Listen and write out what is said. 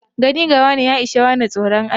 Gane gawane ya ishe wane tsoron Allah.